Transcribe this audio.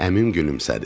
Əmim gülümsədi.